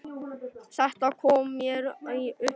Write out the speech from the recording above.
Þetta kom mér í uppnám